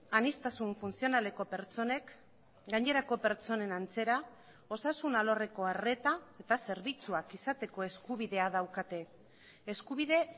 aniztasun funtzionaleko pertsonek gainerako pertsonen antzera osasun alorreko arreta eta zerbitzuak izateko eskubidea daukate eskubide